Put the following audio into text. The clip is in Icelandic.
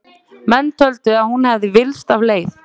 Menn töldu að hún hefði villst af leið.